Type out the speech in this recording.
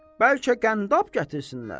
Bəlkə qəndab gətirsinlər?